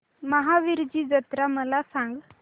महावीरजी जत्रा मला सांग